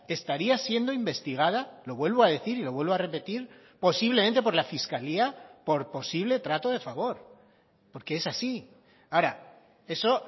estaría siendo investigada lo vuelvo a decir y lo vuelvo a repetir posiblemente por la fiscalía por posible trato de favor porque es así ahora eso